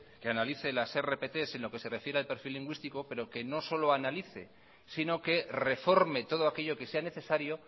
que analice las rpt en lo que se refiere al perfil lingüístico pero que no solo analice sino que reforme todo aquello que sea necesario